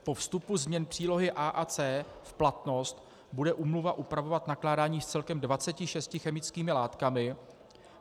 Po vstupu změn příloh A a C v platnost bude úmluva upravovat nakládání s celkem 26 chemickými látkami.